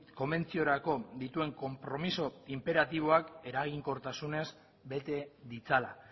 konbentziorako dituen konpromiso inperatiboak eraginkortasunez bete ditzala